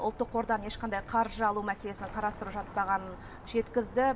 ұлттық қордан ешқандай қаржы алу мәселесін қарастырып жатпағанын жеткізді